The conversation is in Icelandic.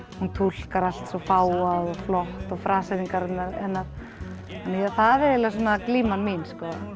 hún túlkar allt svo fágað og flott það er glíman mín